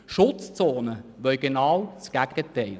Schutzzonen wollen genau das Gegenteil.